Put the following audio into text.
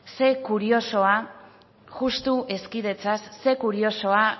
zer kuriosoa justu hezkidetzaz zer kuriosoa